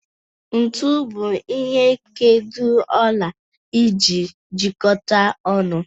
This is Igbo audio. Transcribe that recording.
Ntu bụ ihe nkedo ọla eji ejikọta ọnụ.